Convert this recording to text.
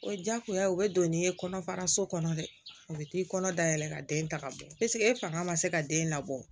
O diyagoya u bɛ don ni ye kɔnɔfara so kɔnɔ dɛ u bɛ t'i kɔnɔ dayɛlɛ ka den ta ka bɔ e fanga ma se ka den labɔ